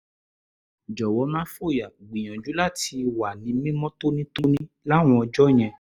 jọ̀wọ́ má fòyà; gbìyànjú láti wà ní mímọ́ tónítóní láwọn ọjọ́ yẹn